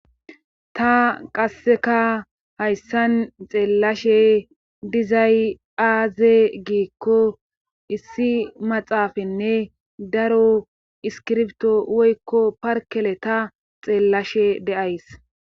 Tta qasseka hayssan xeellashe dizay aaze giikko issi maxaafanne daro iskirbto woykko parkele ta xeellashe de7ays.